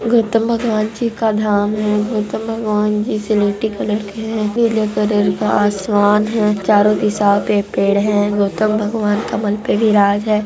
गौतम भगवान जी का धाम है गौतम भगवान स्लेटी कलर के हैं का आसमान है चारों तरफ का आसमान है चारों तरफ कमल पे विराज हैं --